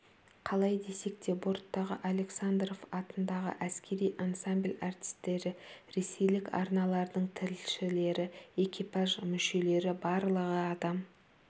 қалай десек те борттағы александров атындағы әскери ансамбль артистері ресейлік арналардың тілшілері экипаж мүшелері барлығы адам